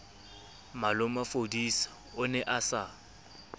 malomafodisa o ne a sa